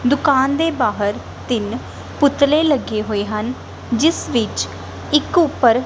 ਦੁਕਾਨ ਦੇ ਬਾਹਰ ਤਿੰਨ ਪੁਤਲੇ ਲੱਗੇ ਹੋਏ ਹਨ ਜਿਸ ਵਿੱਚ ਇੱਕ ਉੱਪਰ--